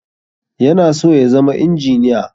Yana so ya zama injiniya